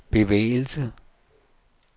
bevægelse